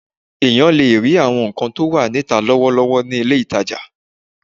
Èèyàn lè rí àwọn nǹkan tó wà níta lọ́wọ́lọ́wọ́ ní ilé-ìtajà